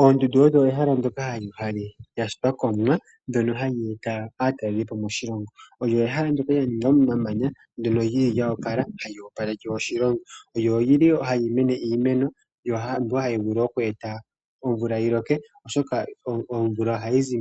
Oondundu lyo ehala ndoka lya shitwa komumwa ndono hali eta aatalelipo moshilongo. Olyo ehala ndoka lya ningwa momamanya ndono lili lyo opala ano hali opaleke oshilongo lyo olili hali mene iimeno mbyono hayi vulu oku eta omvula yiloke oshoka omvula ohayizi